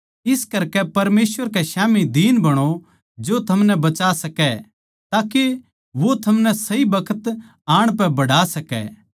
इस करकै परमेसवर के स्याम्ही दीन बणो जो थमनै बचा सकै ताके वो थमनै सही बखत आण पै बढ़ा सकै